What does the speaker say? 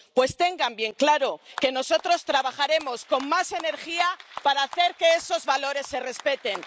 Pues tengan bien claro que nosotros trabajaremos con más energía para hacer que esos valores se respeten.